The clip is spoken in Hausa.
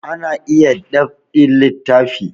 Ana iya dab'in littafi